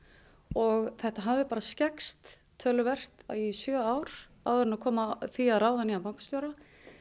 og þetta hafði bara skekkst töluvert í sjö ár áður en kom að því að ráða nýjan bankastjóra